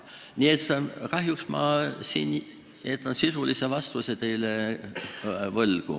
Nii et kahjuks jään ma teile sisulise vastuse võlgu.